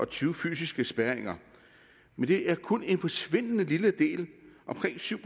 tyve fysiske spærringer men det er kun en forsvindende lille del omkring syv